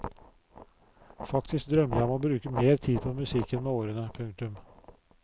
Faktisk drømmer jeg om å bruke mer tid på musikken med årene. punktum